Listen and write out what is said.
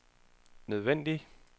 nødvendige